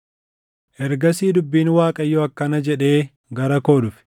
Ergasii dubbiin Waaqayyoo akkana jedhee gara koo dhufe: